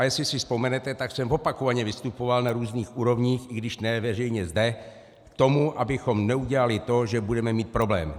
A jestli si vzpomenete, tak jsem opakovaně vystupoval na různých úrovních, i když ne veřejně zde, k tomu, abychom neudělali to, že budeme mít problém.